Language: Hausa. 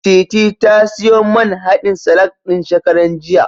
Titi ta siyo man haɗin salak ɗin, shekaran jiya.